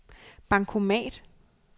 bankomat